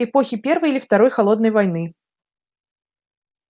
эпохи первой или второй холодной войны